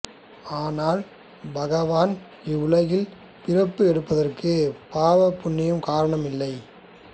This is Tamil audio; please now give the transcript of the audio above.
ஆனால் பகவான் இவ்வுலகில் பிறப்பு எடுப்பதற்கு பாவ புண்ணியம் காரணம் இல்லை